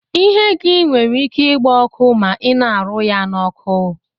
Ihe gi nwere ike igba ọkụ ma ina arụ ya na oku.